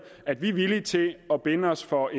at vi er villige til at binde os for